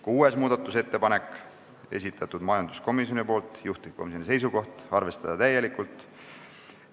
Kuuenda muudatusettepaneku on esitanud majanduskomisjon, juhtivkomisjoni seisukoht on arvestada täielikult.